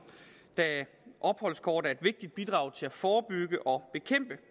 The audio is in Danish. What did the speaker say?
da opholdskort er et vigtigt bidrag til at forebygge og bekæmpe